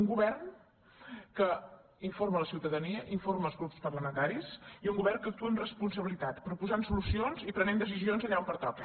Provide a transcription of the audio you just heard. un govern que informa la ciutadania informa els grups parlamentaris i un govern que actua amb responsabilitat proposant solucions i prenent de·cisions allà on pertoca